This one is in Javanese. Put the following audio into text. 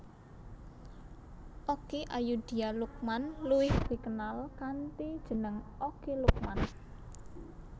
Okky Ayudhia Lukman luwih dikenal kanthi jeneng Okky Lukman